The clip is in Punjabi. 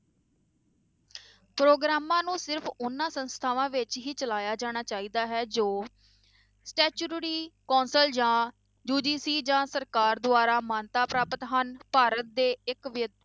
ਪ੍ਰੋਗਰਾਮਾਂ ਨੂੰ ਸਿਰਫ਼ ਉਹਨਾਂ ਸੰਸਥਾਵਾਂ ਵਿੱਚ ਹੀ ਚਲਾਇਆ ਜਾਣਾ ਚਾਹੀਦਾ ਹੈ ਜੋ statutory council ਜਾਂ UGC ਜਾਂ ਸਰਕਾਰ ਦੁਆਰਾ ਮਾਨਤਾ ਪ੍ਰਾਪਤ ਹਨ, ਭਾਰਤ ਦੇ ਇੱਕ ਇੱਕ ਵਿ~